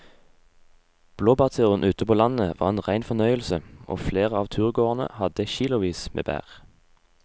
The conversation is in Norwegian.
Blåbærturen ute på landet var en rein fornøyelse og flere av turgåerene hadde kilosvis med bær.